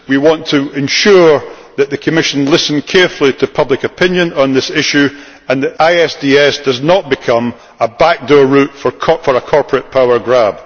We want to ensure that the Commission listens carefully to public opinion on this issue and that ISDS does not become a backdoor route for a corporate power grab.